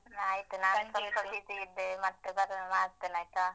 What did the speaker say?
ಆಯ್ತು ನಾನು ಸ್ವಲ್ಪ busy ಇದ್ದೇನೆ ಮತ್ತೆ ಮಾಡ್ತೇನೆ ಆಯ್ತಾ?